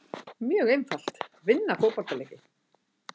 Mjög einfalt, vinna fótboltaleiki.